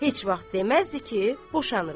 Heç vaxt deməzdi ki, boşanırıq.